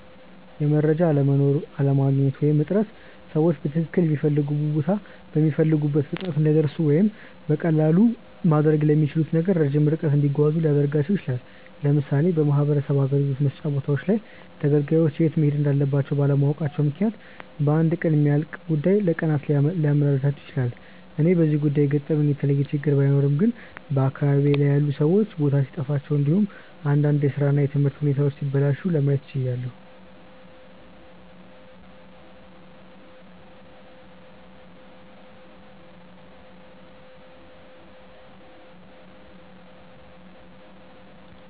የመረጃ አለመኖር፣ አለማግኘት ወይም እጥረት ሰዎችን በትክልል ሚፈልጉበት ቦታ በሚፈልጉት ፍጥነት እንዳይደርሱ ወይም በቀላሉ ማድረግ ለሚችሉት ነገር ረጅም ርቀት እንዲጓዙ ሊያደርጋቸው ይችላል። ለምሳሌ በማህበረሰብ አገልግሎት መስጫ ቦታዎች ላይ ተገልጋዮች የት መሄድ እንዳለባቸው ባለማወቃቸው ምክንያት በአንድ ቀን የሚያልቅ ጉዳይ ለቀናት ሲያመላልሳቸው ይታያል። እኔ በዚህ ጉዳይ የገጠመኝ የተለየ ችግር ባይኖርም ግን በአካባቢዬ ላይ ያሉት ሰዎች ቦታ ሲጠፋቸው እንዲሁም እንዳንድ የስራ እና የትምህርት ሁኔታዎች ሲበላሹባቸው ለማየት ችያለው።